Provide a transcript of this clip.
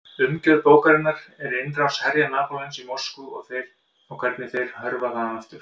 Umgjörð bókarinnar er innrás herja Napóleons í Moskvu og hvernig þeir hörfa þaðan aftur.